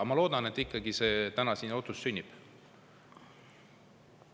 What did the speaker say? Ma siiski loodan, et ikkagi täna siin see otsus sünnib.